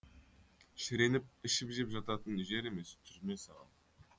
шіреніп ішіп жеп жататын жер емес түрме саған